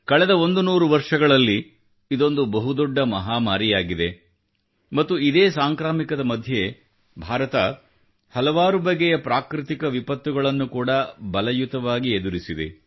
ಕಳೆದ 100 ವರ್ಷಗಳಲ್ಲಿ ಇದೊಂದು ಬಹುದೊಡ್ಡ ಮಹಾಮಾರಿಯಾಗಿದೆ ಮತ್ತು ಇದೇ ಸಾಂಕ್ರಾಮಿಕದ ಮಧ್ಯೆ ಭಾರತ ಹಲವಾರು ಬಗೆಯ ಪ್ರಾಕೃತಿಕ ವಿಪತ್ತುಗಳನ್ನು ಕೂಡ ಬಲಯುತವಾಗಿ ಎದುರಿಸಿದೆ